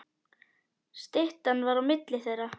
Styttan var á milli þeirra.